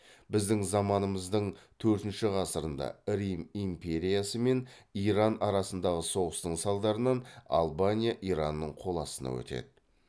біздің заманымыздың төртінші ғасырында рим империясы мен иран арасындағы соғыстың салдарынан албания иранның қол астына өтеді